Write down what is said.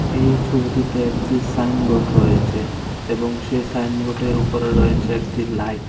এই ছবিটিতে একটি সাইনবোর্ড রয়েছে এবং সেই সাইনবোর্ডের উপরে রয়েছে একটি লাইট ।